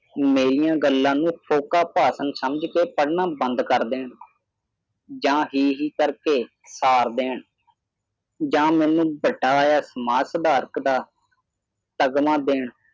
ਮੇਰੀਆਂ ਗੱਲਾਂ ਨੂੰ ਫੋਕਾ ਭਾਸ਼ਣ ਸਮਝ ਕੇ ਪੜ੍ਹਨਾ ਬੰਦ ਕਰ ਦੇਣ ਜਾਂ ਹੀ ਹੀ ਕਰ ਕੇ ਸਾਰ ਦੇਣ ਜਾਂ ਮੈਨੂੰ ਵੱਡਾ ਆਇਆ ਸਮਾਜ ਸੁਧਾਰਕ ਦਾ । ਤਗਮਾ ਦੇਣ